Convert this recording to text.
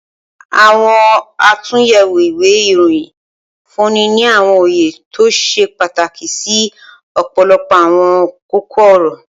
Awọn atunyẹwo iwe iroyin nfunni ni awọn oye to ṣe pataki si ọpọlọpọ awọn koko-ọrọ.